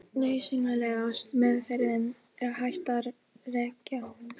Elín Margrét Böðvarsdóttir: Getur þú eitthvað sagt til um nánar í hverju það felst?